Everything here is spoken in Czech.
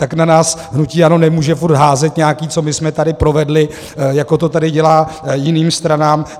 Tak na nás hnutí ANO nemůže furt házet nějaký, co my jsme tady provedli, jako to tady dělá jiným stranám.